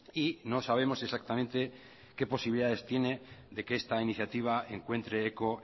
y no sabemos exactamente qué posibilidades tiene de que esta iniciativa encuentre eco